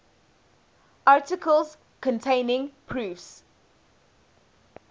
articles containing proofs